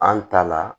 An ta la